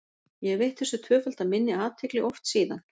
Ég hef veitt þessu tvöfalda minni athygli oft síðan.